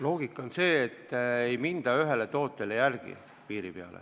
Loogika seisneb selles, et ei minda ühele tootele piiri peale järele.